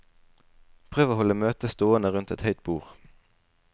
Prøv å holde møtet stående rundt et høyt bord.